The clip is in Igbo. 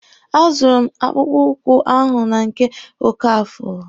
A zụrụ m akpụkpụ ụkwụ ahụ na nke Okafor.